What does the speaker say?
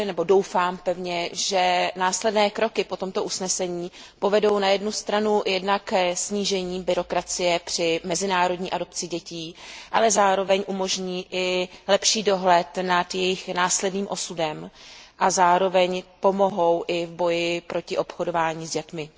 Doufám pevně, že následné kroky po tomto usnesení povedou na jednu stranu ke snížení byrokracie při mezinárodní adopci dětí, ale zároveň umožní i lepší dohled nad jejich následným osudem a zároveň pomohou i v boji proti obchodování s dětmi.